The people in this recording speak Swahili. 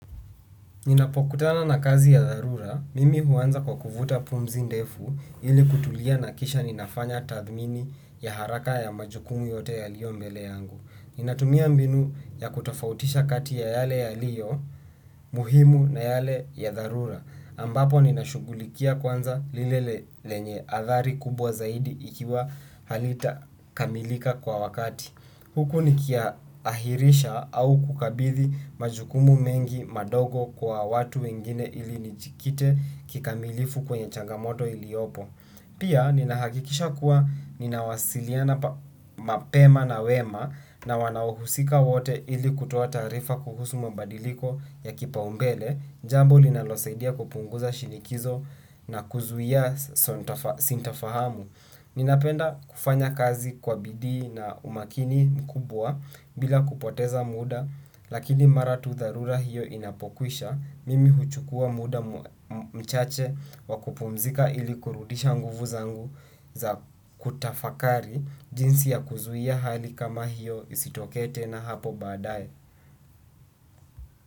Ninapokutana na kazi ya dharura, mimi huanza kwa kuvuta pumzi ndefu ili kutulia na kisha ninafanya tathmini ya haraka ya majukumu yote yaliyo mbele yangu. Ninatumia mbinu ya kutafautisha kati ya yale yaliyo muhimu na yale ya dharura. Ambapo ninashugulikia kwanza lile lenye athari kubwa zaidi ikiwa halita kamilika kwa wakati. Huku nikiahirisha au kukabidhi majukumu mengi madogo kwa watu wengine ili nijikite kikamilifu kwenye chagamoto iliopo. Pia, ninahakikisha kuwa ninawasiliana mapema na wema na wanahusika wote ili kutuata arifa kuhusu mabadiliko ya kipa umbele, jambo linalosaidia kupunguza shinikizo na kuzuia sinta fahamu. Ninapenda kufanya kazi kwa bidii na umakini mkubwa bila kupoteza muda lakini mara tu dharura hiyo inapokwisha mimi huchukua muda mchache wa kupumzika ili kurudisha nguvu zangu za kutafakari jinsi ya kuzuia hali kama hiyo isitokee tena hapo badaye.